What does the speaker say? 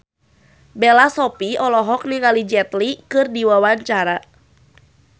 Bella Shofie olohok ningali Jet Li keur diwawancara